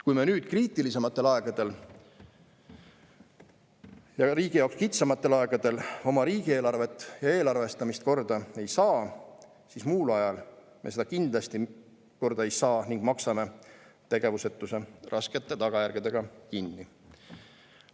Kui me nüüd, kriitilisematel aegadel ja riigi jaoks kitsamatel aegadel oma riigieelarvet ja eelarvestamist korda ei saa, siis muul ajal me seda kindlasti korda ei saa ning maksame tegevusetuse raskete tagajärgedega kinni.